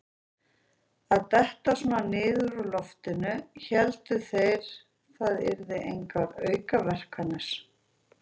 Að detta svona niður úr loftinu: héldu þeir það yrðu engar aukaverkanir?